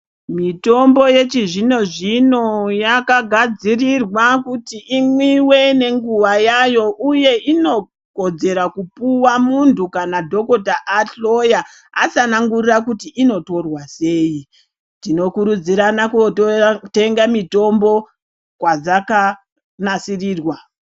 Mitombo yechizvino zvino yakagadzirirwa kuti imwiwe nenguva yayo uye inokodzera kupiwa muntu kana dhokota ahloya atsanangura kuti inotorwa sei tinokuridzira kunotenga mutombo kwadzaka nasirirwa.